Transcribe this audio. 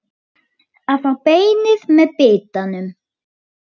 Að fá beinið með bitanum